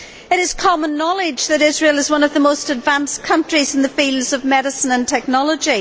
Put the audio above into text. It is common knowledge that Israel is one of the most advanced countries in the fields of medicine and technology.